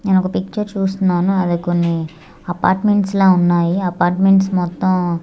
నేనొక పిక్చర్ చూస్తున్నాను అది కొన్ని అపార్ట్మెంట్స్ లా ఉన్నాయి అపార్ట్మెంట్స్ మొత్తం--